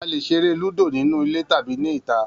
A lè ṣeré Lúdò nínú ilé tàbí ní ìta